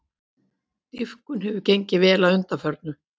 Dýpkun hefur gengið vel að undanförnu